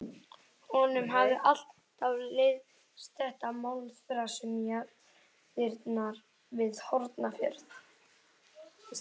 Honum hafði alltaf leiðst þetta málaþras um jarðirnar við Hornafjörð.